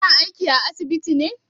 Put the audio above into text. Kina aiki a asibiti ne?